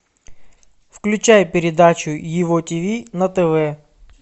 включай передачу его тиви на тв